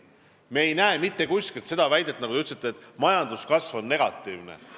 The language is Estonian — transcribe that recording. Me ei näe mitte kuskil seda, mida te ütlesite, et majanduskasv on negatiivne.